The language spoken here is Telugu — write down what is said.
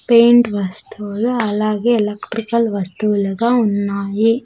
పెయింట్ వస్తువులు అలాగే ఎలక్ట్రికల్ వస్తువులుగా ఉన్నాయి.